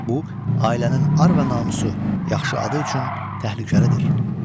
Bu ailənin ar və namusu, yaxşı adı üçün təhlükəlidir.